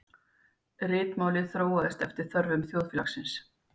Ritmálið þróaðist eftir þörfum þjóðfélagsins.